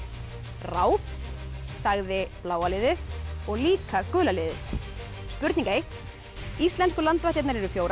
ráð sagði bláa liðið og líka gula liðið spurning ein íslensku landvættirnar eru fjórar